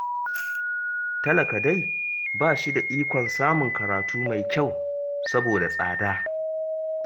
Talaka dai ba shi da ikon samun karatu mai kyau, saboda tsada